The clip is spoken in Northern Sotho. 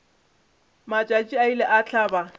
matšatši a ile a hlaba